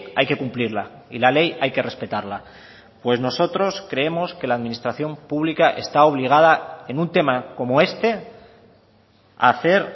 hay que cumplirla y la ley hay que respetarla pues nosotros creemos que la administración pública está obligada en un tema como este a hacer